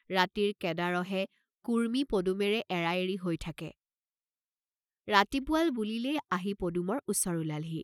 ৰাতিৰ কেদাঁড়হে কুৰ্ম্মী পদুমেৰে এৰা এৰি হৈ থাকে, ৰাতি পুৱাল বুলিলেই আহি পদুমৰ ওচৰ ওলালহি।